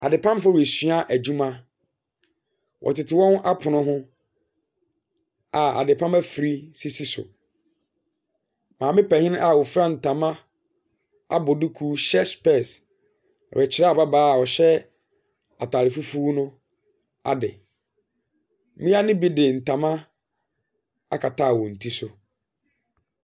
Adepamfo resua adwuma. Wɔtete wɔn apono ho a adepam afiri sisi so. Maame panin a ofura ntama abɔ duku hyɛ slɛɛse rekyerɛ ababaawa ɔhyɛ ataare fufuw no ade. Mmea de natama akata wɔn ti so.